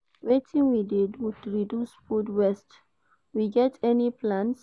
wetin we dey do to reduce food waste, we get any plans?